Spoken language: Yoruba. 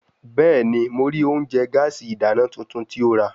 Bẹẹni, Mo rii ounjẹ gaasi idana tuntun ti o ra